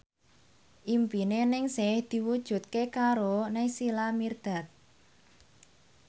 impine Ningsih diwujudke karo Naysila Mirdad